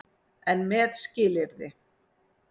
EN MEÐ SKILYRÐI.